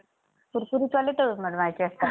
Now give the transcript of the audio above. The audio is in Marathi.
कुरकुरीत वाले तळून बनवायचे असतात